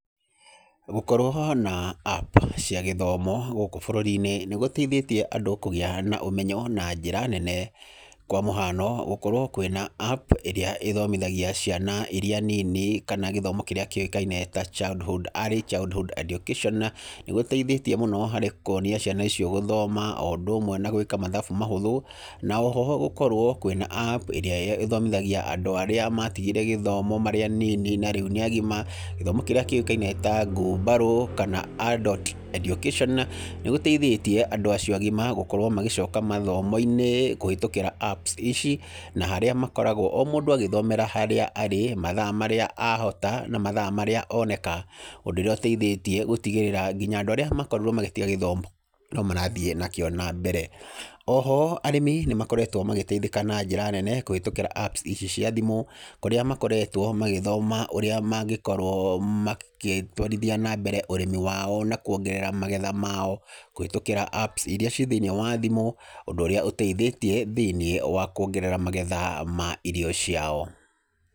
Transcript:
Gũkorwo na App cia gĩthomo gũkũ bũrũri-inĩ nĩ gũteithĩtie andũ kũgĩa na ũmenyo na njĩra nene. Kwa mũhano gũkorwo kwĩna App ĩrĩa ĩthomithagia ciana irĩa nini kana gĩthomo kĩrĩa kĩukaine ta early childhood education, nĩ gũteithĩtie mũno harĩ kũonia ciana icio gũthoma, o ũndũ ũmwe na gwĩka mathabu mahũthũ. Na oho gũkorwo kwĩna App ĩrĩa ĩthomĩthagia andũ arĩa matigire gĩthoma marĩ anini na rĩu nĩ agima. Gĩthomo kĩrĩa kĩũkaine ta ngumbarũ, kana adult education nĩ gũteithĩtie andũ acio agĩma gũkorwo magĩcoka mathomo-inĩ kũhĩtũkĩra Apps ici na harĩa makoragwo, o mũndũ agĩthomera harĩa arĩ, mathaa marĩa ahota, na mathaa marĩa oneka. Ũndũ ũrĩa ũteithĩtie gũtĩgĩrĩra nginya andũ arĩa makorirwo magĩtiga gĩthomo no marathiĩ nakĩo na mbere. Oho arĩmi nĩ makoretwo magĩteithĩka na njĩra nene kũhĩtũkĩra Apps ici cia thimũ. Kũrĩa makoretwo magĩthoma ũrĩa mangĩkorwo magĩtwarithia na mbere ũrĩmi wao, na kuongerera magetha mao kũhĩtũkĩra Apps iria ciĩ thĩiniĩ wa thimũ, ũndũ ũrĩa ũteithĩtie thĩiniĩ wa kuongerera magetha ma irio ciao.